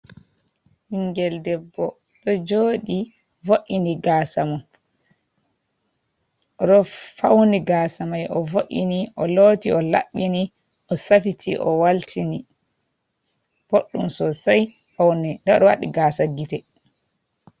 Ɓingel debbo ɗo jodi vo''ini gasamum, oɗo fauni gasamai ovo"ini o loti o laɓɓini, o safiti o waltini, boɗdum sosai paune nda oɗo waɗi gasa gite.